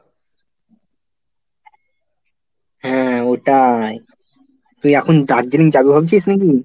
হ্যাঁ, ওটাই, তুই এখন দার্জিলিং যাবি ভাবছিস নাকি?